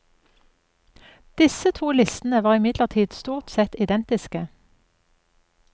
Disse to listene var imidlertid stort sett identiske.